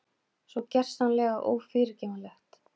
Svo gersamlega ófyrirgefanlegt.